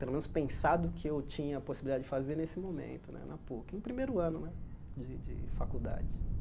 pelo menos, pensado que eu tinha a possibilidade de fazer nesse momento né, na Puc, no primeiro ano né de de faculdade.